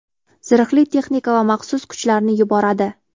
zirhli texnika va maxsus kuchlarni yuboradi.